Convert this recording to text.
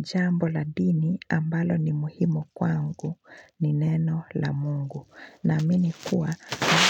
Jambo la dini ambalo ni muhimu kwangu ni neno la mungu na mini kuwa